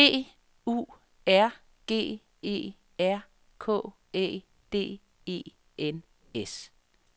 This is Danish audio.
B U R G E R K Æ D E N S